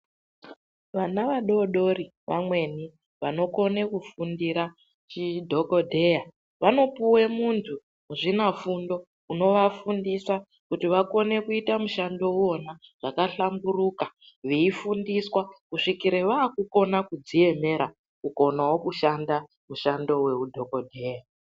Vana vadodori vamweni vanokona kufundira chidhokodheya vanopuwa muntu muzvinafundo unovafundisa, kuti vakone kuita mushando uowana zvakahlamburuka veifundiswa kusvikira vakukona kudziemera kukonawo kushanda mushando weudhokodheya.